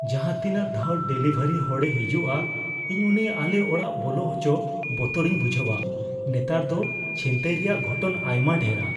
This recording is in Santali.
ᱡᱟᱦᱟᱸ ᱛᱤᱱᱟᱜ ᱫᱷᱟᱣ ᱰᱮᱞᱤᱵᱷᱟᱨᱤ ᱦᱚᱲᱮ ᱦᱤᱡᱩᱜᱼᱟ, ᱤᱧ ᱩᱱᱤ ᱟᱞᱮ ᱚᱲᱟᱜ ᱵᱚᱞᱚ ᱦᱚᱪᱚ ᱵᱚᱛᱚᱨᱤᱧ ᱵᱩᱡᱷᱟᱹᱣᱟ ᱾ᱱᱮᱛᱟᱨ ᱫᱚ ᱪᱷᱤᱱᱛᱟᱹᱭ ᱨᱮᱭᱟᱜ ᱜᱷᱚᱴᱚᱱ ᱟᱭᱢᱟ ᱰᱷᱮᱨᱟ ᱾